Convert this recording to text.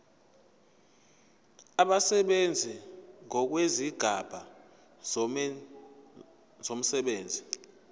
abasebenzi ngokwezigaba zomsebenzi